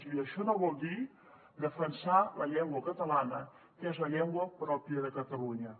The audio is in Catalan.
i això no vol dir defensar la llengua catalana que és la llengua pròpia de catalunya